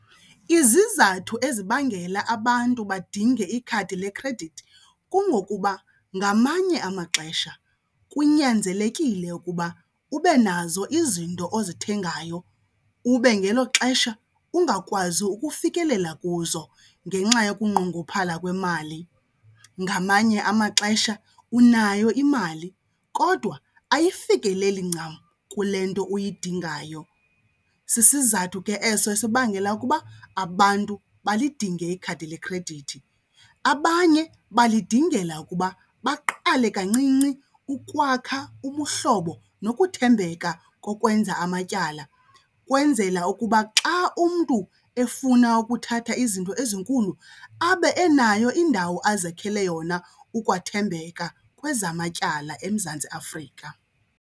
Izizathu ezibangela abantu badinge ikhadi lekhredithi kungokuba ngamanye amaxesha kunyanzelekile ukuba ube nazo izinto ozithengayo ube ngelo xesha ungakwazi ukufikelela kuzo ngenxa yokunqongophala kwemali. Ngamanye amaxesha unayo imali kodwa ayifikeleli ncam kule nto uyidingayo, sisizathu ke eso esibangela ukuba abantu balidinge ikhadi lekhredithi. Abanye balidingela ukuba baqale kancinci ukwakha ubuhlobo nokuthembeka kokwenza amatyala, kwenzela ukuba xa umntu efuna ukuthatha izinto ezinkulu abe enayo indawo azakhele yona ukwathembeka kwezamatyala eMzantsi Afrika.